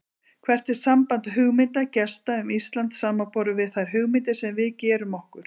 Hvert er samband hugmynda gesta um Ísland samanborið við þær hugmyndir sem við gerum okkur?